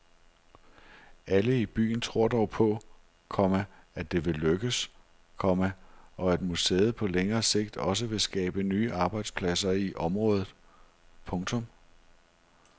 Alle i byen tror dog på, komma at det vil lykkes, komma og at museet på længere sigt også vil skabe nye arbejdspladser i området. punktum